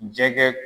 Jɛgɛ